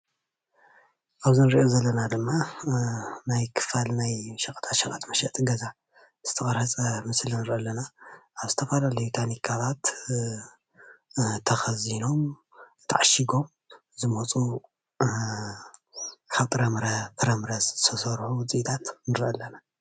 አብዚ እንሪኦ ዘለና ድማ ናይ ክፋል ናይ ሸቀጣ ሸቀጥ መሸጢ ገዛ ዝተቀረፀ ምስሊ ንሪኢ ኣለና፡፡ ኣብ ዝተፈላለዩ ታኒካታት ተከዚኖም ተዓሺጎም ዝመፁ ካብ ጥራምረ ፍራምረ ዝተስርሑ ውፅኢታት ንሪኢ ኣለና፡፡